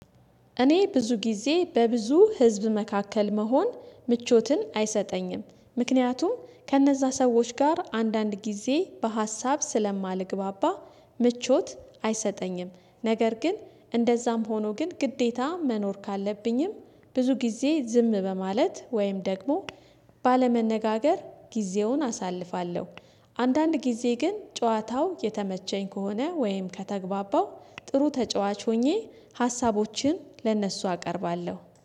እኔ ብዙ ጊዜ በብዙ ህዝብ መካከል መሆን ምቾትን አይሰጠኝም ምክንያቱም ከእነዛ ሰዎች ጋር አንዳንድ ጊዜ በሀሳብ ስለማልግባባ ምቾት አይሰጠኝም። ነገር ግን እንደዛም ሆኖ ግን ግዴታ መኖር ካለብኝም ብዙ ጊዜ ዝም በማለት ወይም ደግሞ ባለመነጋገር ጊዜውን አሳልፋለሁ። አንዳንድ ጊዜ ግን ጨዋታው የተመቸኝ ከሆነ ወይም ከተግባባው ጥሩ ተጫዋች ሆኜ ሀሳቦችን ለእነሱ አቀርባለሁ